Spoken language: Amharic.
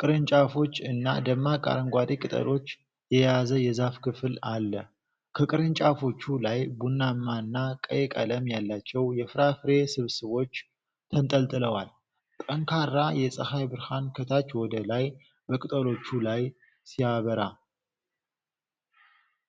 ቅርንጫፎች እና ደማቅ አረንጓዴ ቅጠሎች የያዘ የዛፍ ክፍል አለ። ከ ቅርንጫፎቹ ላይ ቡናማና ቀይ ቀለም ያላቸው የፍራፍሬ ስብስቦች ተንጠልጥለዋል። ጠንካራ የፀሐይ ብርሃን ከታች ወደ ላይ በቅጠሎቹ ላይ ሲያበራ።